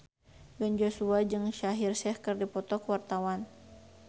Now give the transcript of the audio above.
Ben Joshua jeung Shaheer Sheikh keur dipoto ku wartawan